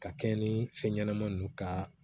Ka kɛɲɛ ni fɛn ɲɛnama ninnu ka